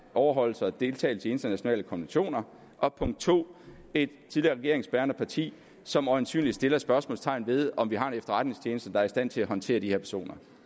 overholdelse af og deltagelse i internationale konventioner og punkt to et tidligere regeringsbærende parti som øjensynligt sætter spørgsmålstegn ved om vi har en efterretningstjeneste der er i stand til at håndtere de her personer